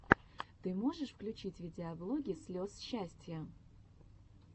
ты можешь включить видеоблоги слез счастья